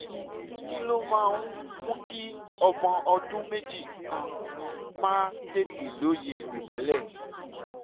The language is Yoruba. kí ló máa ń mú kí ọmọ ọdún méjì kan máa tètè lóye ìmọ́lẹ̀?